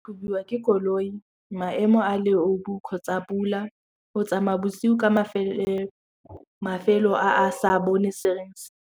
ke koloi, maemo a leobu kgotsa pula go tsamaya bosigo ka mafelo a a sa .